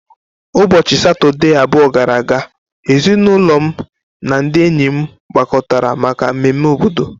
Ụbọchị Satọde abụọ gara aga, ezinụlọ m na ndị enyi m gbakọtara maka mmemme obodo.